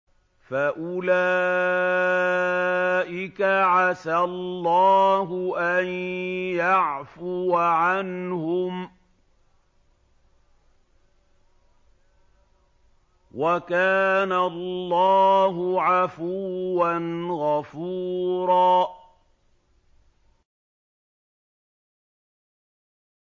فَأُولَٰئِكَ عَسَى اللَّهُ أَن يَعْفُوَ عَنْهُمْ ۚ وَكَانَ اللَّهُ عَفُوًّا غَفُورًا